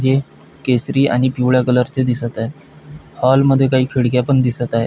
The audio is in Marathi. हे केसरी आणि पिवळ्या कलरचे दिसत आहे हॉल मध्ये काही खिडक्या पण दिसत आहे.